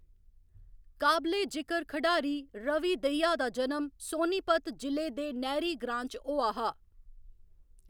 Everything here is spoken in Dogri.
काबले जिकर खढारी रवि दहिया दा जनम सोनीपत जि'ले दे नहरी ग्रांऽ च होआ हा।